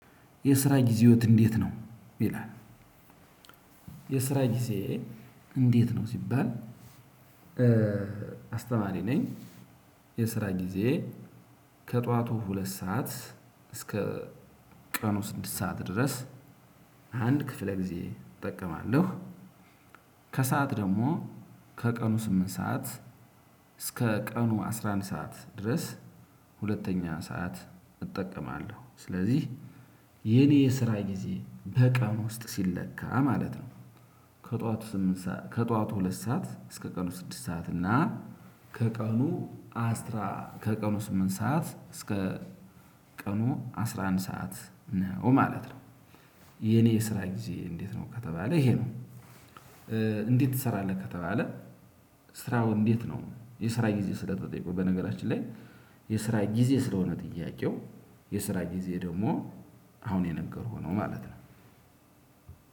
የስራ ጊዜዎት እንዴት ነው ይላል? የስራ ጊዜ እንዴት ነው ሲባል? አስተማሪ ነኝ። የስራ ጊዜዬን ከጧቱ ሁለት ሰዓት እስከ ቀኑ ስድስት ሰዓት ድረስ አንድ ክፍለ ጊዜ እጠቀማለሁ። ከሰአት ደግሞ ከቀኑ ስምንት ሰዓት እስከ ቀኑ አስራ አንድ ሰዓት ድረስ ሁለተኛ ሰዓት እጠቀማለሁ። ስለዚህ የኔ የስራ ጊዜ በቀን ውስጥ ሲለካ ማለት ነው። ከጧት ስምንት ሰዓት ከጧት ሁለት ሰዓት እስከ ቀኑ ስድስት ሰዓት እና። ከቀኑ አስራ ከቀኑ ስምንት ሰዓት እስከ ቀኑ አስራ አንድ ሰዓት ነው ማለት ነው። የኔ የስራ ጊዜ እንዴት ነው ከተባለ ይሄ ነው። እንዴት ትሰራለህ ከተባለ ስራው እንዴት ነው የስራ ጊዜ ስለተጠየኩ በነገራችን ላይ የስራ ጊዜ ስለሆነ ጥያቄው የስራ ጊዜ ደሞ አሁን የነገርኩህ ነው ማለት ነው።